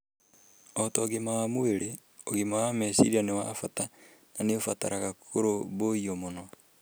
O ta ũgima wa mwĩrĩ, ũgima wa meciria nĩ wa bata na nĩ ũbataraga kũrũmbũiyo mũno.